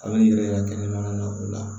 A bɛ yiri yɛrɛ kɛnɛmana na o la